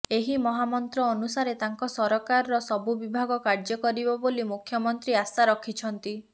ଏହି ମହାମନ୍ତ୍ର ଅନୁସାରେ ତାଙ୍କ ସରକାରର ସବୁ ବିଭାଗ କାର୍ଯ୍ୟ କରିବ ବୋଲି ମୁଖ୍ୟମନ୍ତ୍ରୀ ଆଶା ରଖିଛନ୍ତି